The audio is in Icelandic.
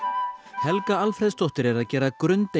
Helga Alfreðsdóttir er að gera